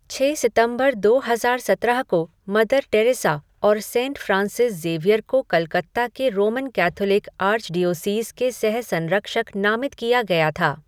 छः सितंबर दो हजार सत्रह को, मदर टेरेसा और सेंट फ़्रांसिस ज़ेवियर को कलकत्ता के रोमन कैथोलिक आर्चडीओसीज़ के सह संरक्षक नामित किया गया था।